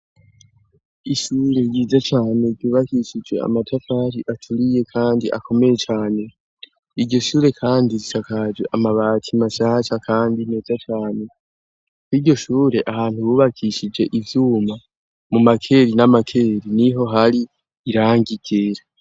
Ishure ryiza cane ryubakishije amatakari aturiye, kandi akomeye cane igishure, kandi risakaje amabati masaca, kandi neza cane koigishure ahantu bubakishije ivyuma mu makeri n'amakeri ni ho hari irangigera.